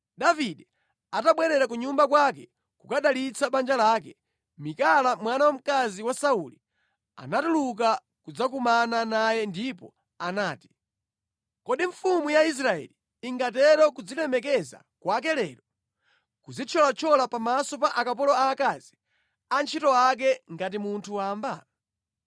Davide atabwerera ku nyumba kwake kukadalitsa banja lake, Mikala mwana wamkazi wa Sauli anatuluka kudzakumana naye ndipo anati, “Kodi mfumu ya Israeli ingatero kudzilemekeza kwake lero, kudzithyolathyola pamaso pa akapolo aakazi, antchito ake ngati munthu wamba.”